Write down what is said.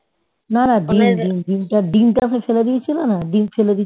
না না ডিম ডিম ডিমটা ডিমটা ফেলে দিয়েছিল না ডিম ফেলে